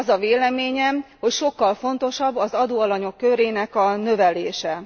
Az a véleményem, hogy sokkal fontosabb az adóalanyok körének a növelése.